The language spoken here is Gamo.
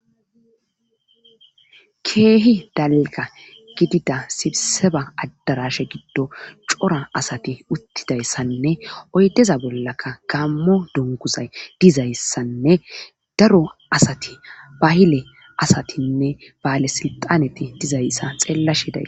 keehi dalga gidida sibseba addarashe giddo cora asati uttidayssanne oydeza bollaka gammo dunguzay dizayssanne daro asati bahile asatinne baale silxaneti dizayssa xeellashi da